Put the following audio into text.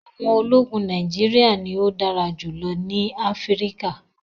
àwọn ólogun Nàìjíríà ni o dàrà julọ ni Afirika